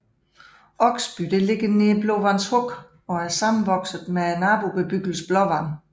Oksby er beliggende nær Blåvands Huk og er sammenvokset med nabobebyggelsen Blåvand